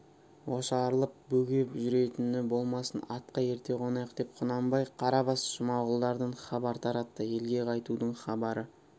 ошарылып бөгеп жүретіні болмасын атқа ерте қонайық деп құнанбай қарабас жұмағұлдардан хабар таратты елге қайтудың хабары